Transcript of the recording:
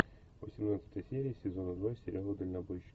восемнадцатая серия сезона два сериала дальнобойщики